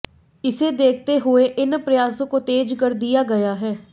इसे देखते हुये इन प्रयासों को तेज कर दिया गया है